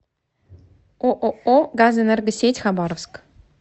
ооо газэнергосеть хабаровск